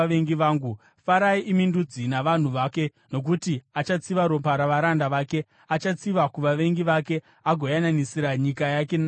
Farai, imi ndudzi, navanhu vake, nokuti achatsiva ropa ravaranda vake; achatsiva kuvavengi vake agoyananisira nyika yake navanhu vake.